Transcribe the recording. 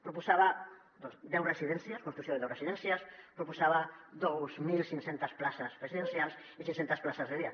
proposava doncs deu residències construcció de deu resi·dències proposava dos mil cinc cents places residencials i cinc·centes places de dia